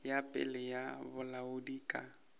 ya pele ya bolaodi ka